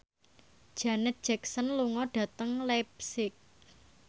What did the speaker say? Janet Jackson lunga dhateng leipzig